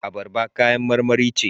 Abarba kayan marmari ce.